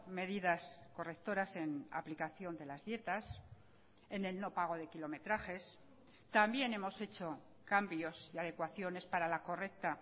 medidas correctoras en aplicación de las dietas en el no pago de kilometrajes también hemos hecho cambios y adecuaciones para la correcta